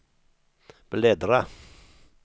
bläddra